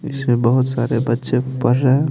इसमें बहुत सारे बच्चे पढ़ रहे।